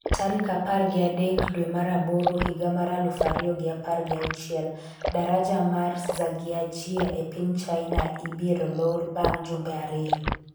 tarik apar gi adek dwe mar aboro higa mar aluf ariyo gi apar gi auchiel. Daraja mar Zhangjiajie e piny China ibieo lor bang' jumbe ariyo